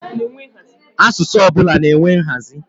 Asụsụ ọbụla na-enwe nhazi